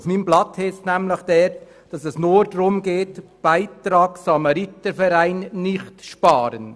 Auf meinem Blatt steht, dass es nur darum geht, den Beitrag an den Samariterverein nicht einzusparen.